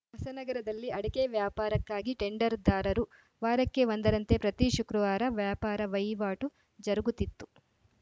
ಹೊಸನಗರದಲ್ಲಿ ಅಡಕೆ ವ್ಯಾಪಾರಕ್ಕಾಗಿ ಟೆಂಡರ್‌ದಾರರು ವಾರಕ್ಕೆ ಒಂದರಂತೆ ಪ್ರತಿ ಶುಕ್ರವಾರ ವ್ಯಾಪಾರ ವಹಿವಾಟು ಜರುಗುತ್ತಿತ್ತು